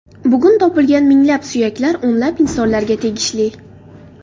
Bugun topilgan minglab suyaklar o‘nlab insonlarga tegishli.